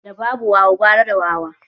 Da babu wawa gara da wawa.